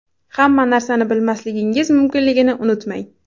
Hamma narsani bilmasligingiz mumkinligini unutmang.